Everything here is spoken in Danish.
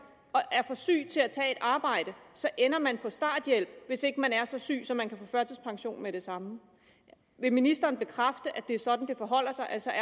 og er for syg til at tage et arbejde så ender man på starthjælp hvis ikke man er så syg så man kan få førtidspension med det samme vil ministeren bekræfte at det er sådan det forholder sig altså